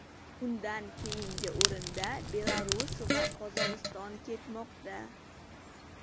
Undan keyingi o‘rinda Belarus va Qozog‘iston ketmoqda.